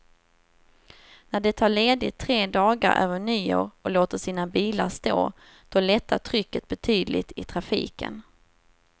När de tar ledigt tre dagar över nyår och låter sina bilar stå, då lättar trycket betydligt i trafiken.